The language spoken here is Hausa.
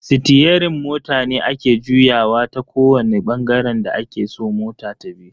Sitiyerin mota ne ake juyawa ta kowani bangaren da ake so mota tabi.